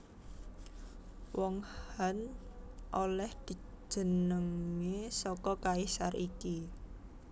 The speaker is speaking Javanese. Wong Han olèh jenengé saka kaisar iki